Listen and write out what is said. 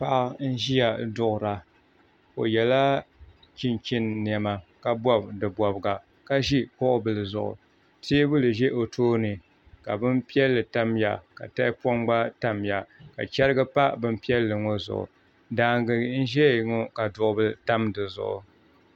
Paɣa n ʒiya duɣura o yɛla chinchin niɛma ka bob di bobga ka ʒi kuɣu bili zuɣu teebuli ʒɛ o tooni ka bin piɛlli tamya ka tahapoŋ gba tamya ka chɛrigi pa bin piɛlli ŋo zuɣu daangi n ʒɛya ŋo ka duɣu bili tam di zuɣu